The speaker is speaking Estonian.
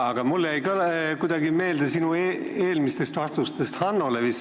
Aga mulle jäi meelde üks asi sinu vastustest Hannole vist.